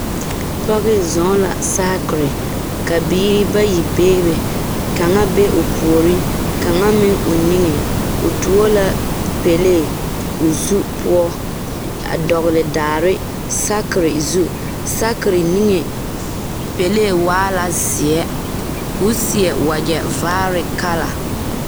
Pɔge zɔɔ la saakere ka biiri bayi bee be kaŋa be o puori kaŋa meŋ o niŋe o tuo la pɛlee o zu poɔ a dɔgele daare saakere zu saakere niŋe pɛlee waa la zeɛ ko seɛ wagyɛ vaare kala